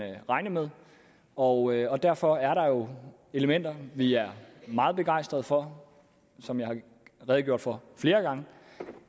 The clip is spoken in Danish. regne med og derfor er der jo elementer vi er meget begejstret for som jeg har redegjort for flere gange